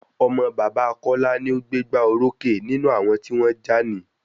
Ọmọ bàbá Kọla ni o gbé gbá orókè nínú àwọn tí wọ́n jà ní